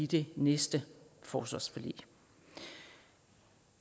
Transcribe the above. det næste forsvarsforlig